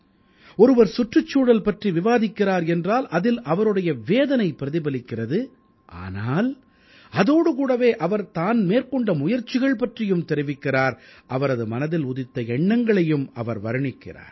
ஒருவர் சுற்றுச்சூழல் பற்றி விவாதிக்கிறார் என்றால் அதில் அவருடைய வேதனை பிரதிபலிக்கிறது ஆனால் அதோடு கூடவே அவர் தான் மேற்கொண்ட முயற்சிகள் பற்றியும் தெரிவிக்கிறார் அவரது மனதில் உதித்த எண்ணங்களையும் அவர் வர்ணிக்கிறார்